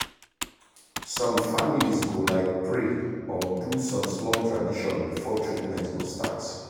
some families go like pray or do some small tradition before treatment go start.